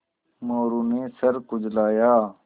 मोरू ने सर खुजलाया